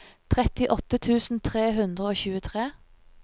trettiåtte tusen tre hundre og tjuetre